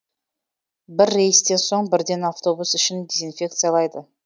бір рейстен соң бірден автобус ішін дезинфекциялайды